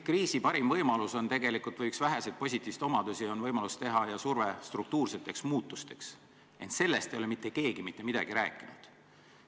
Kriisi parim võimalus või üks väheseid positiivseid omadusi on võimalus teha struktuurseid muudatusi ja surve neid teha, ent sellest ei ole mitte keegi mitte midagi rääkinud.